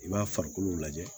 I b'a farikolo lajɛ